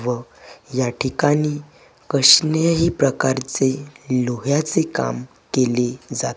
व या ठिकाणी कसल्याही प्रकारचे लोह्याचे काम केले जा--